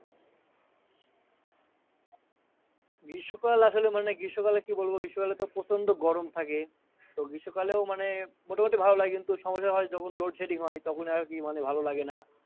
গ্রীস্ম কাল আসলে মানে গ্রীষ্ম কালে কি বলবো গ্রীষ্ম কালে তো প্রচন্ড গরম থাকে তো গ্রীষ্ম কালেও মোটা মুটি ভালো লাগে কিন্তু সমস্যা হয় যখন Loadsetting হয় তখন আর কি ভালো লাগে না